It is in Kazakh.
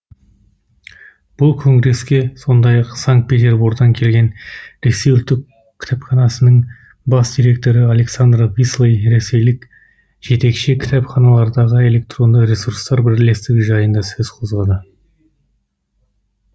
бұл конгреске сондай ақ санкт петербордан келген ресей ұлттық кітапханасының бас директоры александр вислый ресейлік жетекші кітапханалардағы электронды ресурстар бірлестігі жайында сөз қозғады